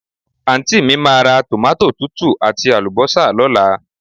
Àntí mi máa ra tòmátò tútù àti àlùbọ́sà lóla